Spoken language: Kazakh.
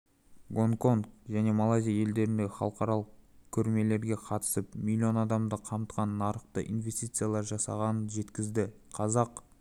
гонконг және малайзия елдеріндегі халықаралық көрмелерге қатысып миллион адамды қамтыған нарықта интервенциялар жасағанын жеткізді қазақ